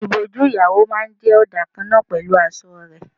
Ìbòjú ìyàwó máa ń jẹ ọdà kan náà pẹ̀lú aṣọ rẹ.